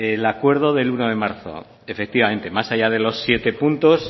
el acuerdo del uno de marzo efectivamente más allá de los siete puntos